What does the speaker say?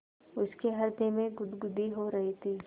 उसके हृदय में गुदगुदी हो रही थी